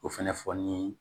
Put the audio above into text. O fɛnɛ fɔ ni